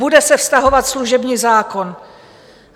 Bude se vztahovat služební zákon.